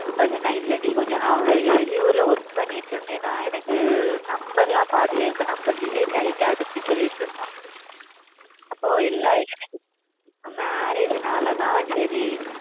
அப்ப சொன்ன இல்லை டி நா நா வெளி ஊர்ல work பன்னிட்டு இருந்தனா எனக்கு number லாம் delete ஆயிட்டு அதுக்கு சொல்லிடு இருதான் marriage நாலா தான் சரி